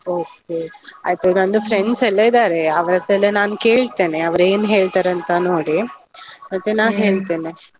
Okay , ಆಯ್ತು ನಂದು friends ಎಲ್ಲ ಇದಾರೆ ಅವರತ್ರ ಎಲ್ಲ ನಾನು ಕೇಳ್ತೆನೆ, ಅವರ್ ಏನ್ ಹೇಳ್ತಾರೆ ಅಂತ ನೋಡಿ, ಮತ್ತೆ ನಾ ಹೇಳ್ತೇನೆ.